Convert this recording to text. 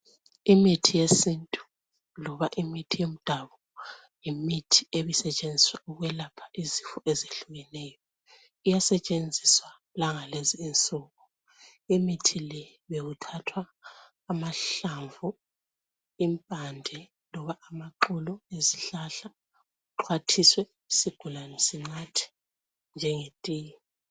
Imithi yesintu loba imithi yemdabu yimithi ebisetshenziswa ukwelapha izifo ezehlukeneyo. Iyasetshenziswa langalezi insuku. Imithi le bekuthathwa amahlamvu, impande loba amaxolo ezihlahla axhwathiswe isigulane sinathe njenge tiye.